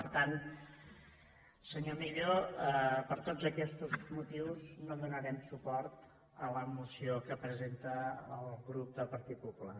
per tant senyor millo per tots aquests motius no donarem suport a la moció que presenta el grup del partit popular